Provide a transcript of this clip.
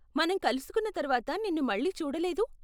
మనం కలుసుకున్న తర్వాత నిన్ను మళ్ళీ చూడలేదు.